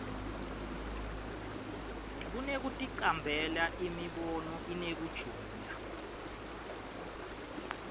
kunekuticambela imibono inekujula